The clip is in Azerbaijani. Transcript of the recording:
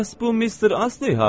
Bəs bu Mister Astley hardadır?